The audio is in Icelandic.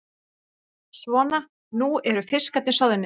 Svona, nú eru fiskarnir soðnir.